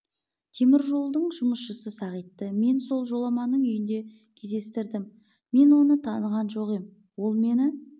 темір жолдың жұмысшысы сағитты мен сол жоламанның үйінде кездестірдім мен оны таныған жоқ ем ол мені